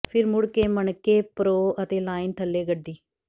ਫਿਰ ਮੁੜ ਕੇ ਮਣਕੇ ਪਰੋ ਅਤੇ ਲਾਈਨ ਥੱਲੇ ਗੱਡੀ